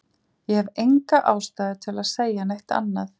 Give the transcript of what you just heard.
Ég hef enga ástæðu til að segja neitt annað.